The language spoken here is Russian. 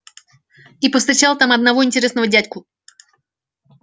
и повстречал там одного интересного дядьку